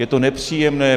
Je to nepříjemné.